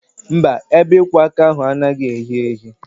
Mba, ebe ịkwọ aka ahụ anaghị ehi ehi